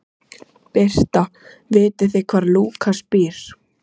Birta: Vitið þið hvar Lúkas býr?